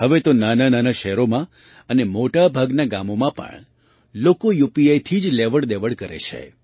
હવે તો નાનાંનાનાં શહેરોમાં અને મોટા ભાગનાં ગામોમાં પણ લોકો યુપીઆઈથી જ લેવડદેવડ કરે છે